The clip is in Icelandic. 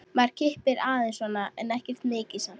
Maður kippir aðeins svona, ekkert mikið samt.